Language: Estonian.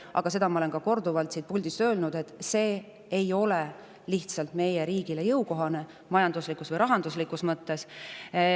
Aga ma olen korduvalt siit puldist öelnud, et ei ole meie riigile majanduslikult või rahanduslikult jõukohane.